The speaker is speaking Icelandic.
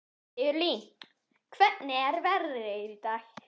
Sigurlín, hvernig er veðrið í dag?